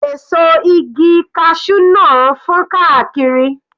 Èso igi cashew náà fọ́n káàkiri.